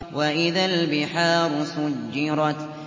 وَإِذَا الْبِحَارُ سُجِّرَتْ